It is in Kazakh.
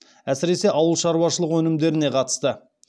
әсіресе ауылшаруашылық өнімдеріне қатысты